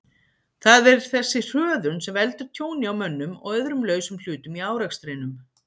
Það er þessi hröðun sem veldur tjóni á mönnum og öðrum lausum hlutum í árekstrinum.